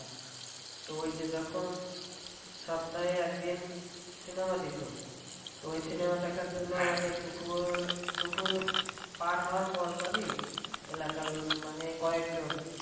তো ওই যে যখন সপ্তাহে একদিন cinema দিতো তো ওই cinema দেখার জন্য দুপুর দুপুর পার হওয়ার পর পরই এলাকার মানে কয়েকজন